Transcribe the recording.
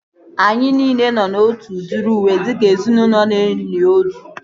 Anyị nile nọ na otu udiri uwe dịka ezinaụlọ na-eli ozu